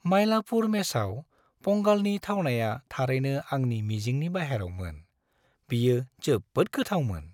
मायलापुर मेसआव पंगालनि थावनाया थारैनो आंनि मिजिंनि बाहेरायवमोन। बेयो जोबोद गोथावमोन।